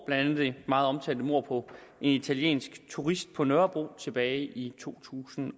andet det meget omtalte mord på en italiensk turist på nørrebro tilbage i to tusind